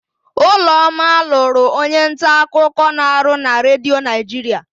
Ụlọma lụrụ onyenta akụkọ na-arụ na Redio Naịjiria.